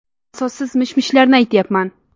Asossiz mish-mishlarni aytyapman.